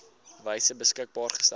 wyse beskikbaar gestel